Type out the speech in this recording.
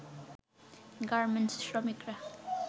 garments শ্রমিকরা